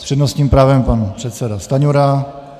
S přednostním právem pan předseda Stanjura.